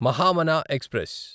Mahamana express